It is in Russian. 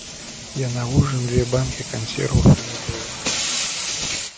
я на ужин две банки консервов приготовил